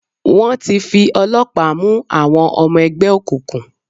Wọ́n ti fi ọlọ́pàá mú àwọn ọmọ ẹgbẹ́ òkùnkùn.